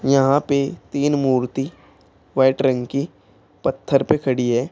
यहां पे तीन मूर्ति व्हाइट रंग की पत्थर पे खड़ी है।